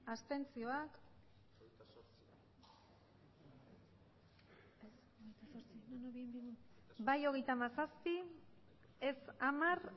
abstenzioak emandako botoak hirurogeita hamabost bai hogeita hamazazpi ez hamar